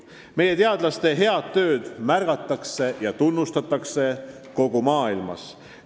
Meie teadlaste head tööd märgatakse ja tunnustatakse kogu maailmas.